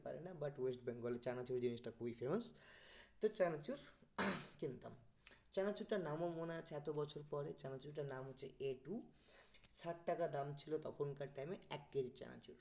পারে না but west bengal এ চানাচুর জিনিসটা খুবই famous তো চানাচুর কিনতাম চানাচুরটার নামও মনে আছে এত বছর পরে চানাচুরটার নাম হচ্ছে ষাট টাকা দাম ছিল তখনকার time এ এক কেজি চানাচুর